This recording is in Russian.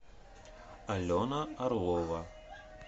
алена орлова